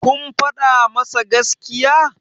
kun faɗa masa gaskiya?